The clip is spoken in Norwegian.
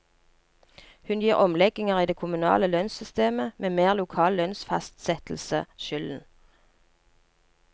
Hun gir omlegginger i det kommunale lønnssystemet, med mer lokal lønnsfastsettelse, skylden.